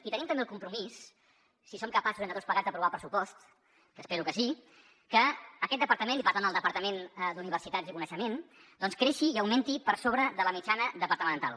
i tenim també el compromís si som capaços entre tots plegats d’aprovar els pressupost que espero que sí que aquest departament i per tant el departament d’universitats i coneixement doncs creixi i augmenti per sobre de la mitjana departamental